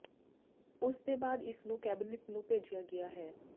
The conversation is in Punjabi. ਉਸ ਦੇ ਬਾਅਦ ਇਸ ਨੂੰ ਕੈਬਨਿਟ ਨੂੰ ਭੇਜਿਆ ਗਿਆ ਹੈ